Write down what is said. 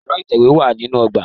Ẹ̀rọ ìtẹ̀wé wà nínú ọgbà.